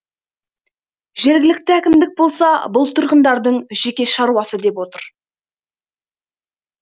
жергілікті әкімдік болса бұл тұрғындардың жеке шаруасы деп отыр